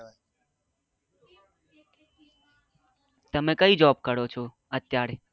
તમે કઈ job કરો છો અત્યારે?